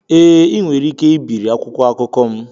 Ee, ị nwere ike ibiri akwụkwọ akụkọ m.